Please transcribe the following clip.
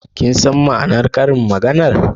Kin san ma'anar Karin magana'n?